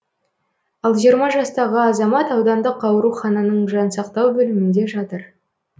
ал жиырма жастағы азамат аудандық аурухананың жансақтау бөлімінде жатыр